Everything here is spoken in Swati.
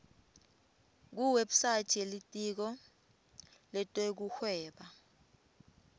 kuwebsite yelitiko letekuhweba